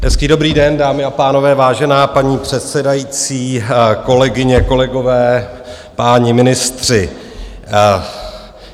Hezký dobrý den, dámy a pánové, vážená paní předsedající, kolegyně, kolegové, páni ministři.